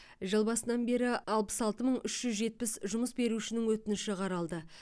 жыл басынан бері алпыс алты мың үш жүз жетпіс жұмыс берушінің өтініші қаралды